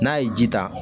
N'a ye ji ta